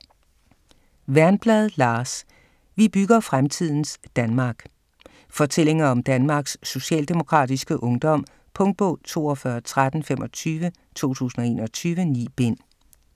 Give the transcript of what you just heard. Wernblad, Lars: Vi bygger fremtidens Danmark: Fortællinger om Danmarks Socialdemokratiske Ungdom Punktbog 421325 2021. 9 bind.